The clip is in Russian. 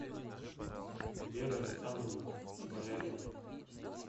вера александровна балябина